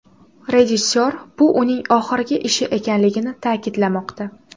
Rejissor bu uning oxirgi ishi ekanligini ta’kidlamoqda.